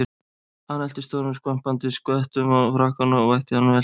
Hann hellti stórum skvampandi skvettum á frakkann og vætti hann vel.